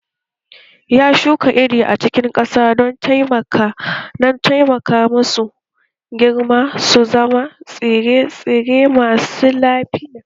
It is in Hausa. Ya shuka iri a cikin ƙasa don taimaka musu su girma su zama tsire-tsire masu lafiya